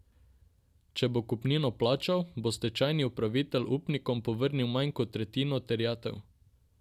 Če bo kupnino plačal, bo stečajni upravitelj upnikom povrnil manj kot tretjino terjatev.